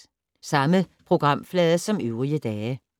Samme programflade som øvrige dage